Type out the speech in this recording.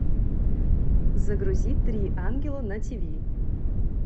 загрузи три ангела на тв